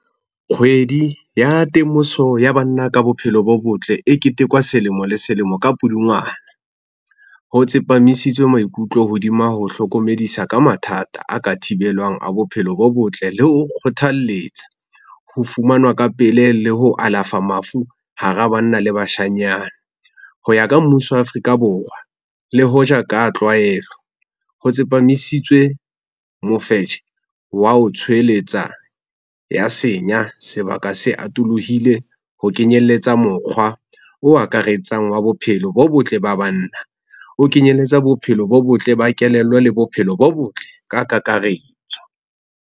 Kgwedi ya temoso ya banna ka bophelo bo botle e ketekwa selemo le selemo ka Pudungwana. Ho tsepamisitswe maikutlo hodima ho hlokomedisa ka mathata a ka thibelwang a bophelo bo botle le ho kgothalletsa ho fumanwa ka pele le ho alafa mafu hara banna le bashanyana. Ho ya ka mmuso wa Afrika Borwa le hoja ka tlwaelo, ho tsepamisitswe mofetshe wa ho tshoeletsa ya senya, sebaka se atolohile ho kenyelletsa mokgwa o akaretsang wa bophelo bo botle ba banna. O kenyeletsa bophelo bo botle ba kelello le bophelo bo botle ka kakaretso.